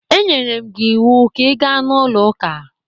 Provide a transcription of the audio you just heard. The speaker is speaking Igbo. M nyere gị ịwụ ka ị gaa n'ụlọ ụka!